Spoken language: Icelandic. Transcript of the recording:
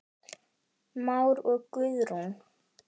Már og Guðrún.